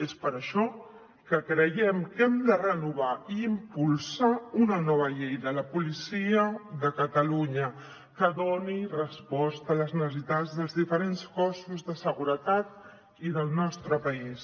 és per això que creiem que hem de renovar i impulsar una nova llei de la policia de catalunya que doni resposta a les necessitats dels diferents cossos de seguretat i del nostre país